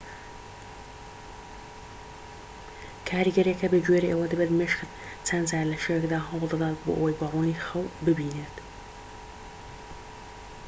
کاریگەریەکە بە گوێرەی ئەوە دەبێت مێشکت چەند جار لە شەوێکدا هەوڵ دەدات بۆ ئەوەی بە ڕوونی خەو ببینێت